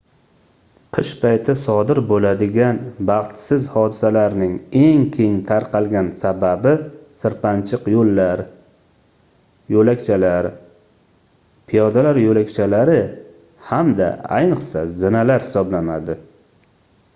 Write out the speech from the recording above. qish payti sodir bo'ladigan baxtsiz hodisalarning eng keng tarqalgan sababi sirpanchiq yo'llar yo'lakchalar piyodalar yo'lakchakari hamda ayniqsa zinalar hisoblanadi